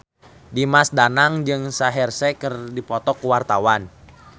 Dimas Danang jeung Shaheer Sheikh keur dipoto ku wartawan